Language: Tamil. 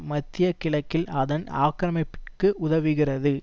மத்திய கிழக்கில் அதன் ஆக்கிரமிப்பிற்கு உதவுகிறது